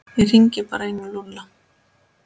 Ég hringi bara í Lúlla.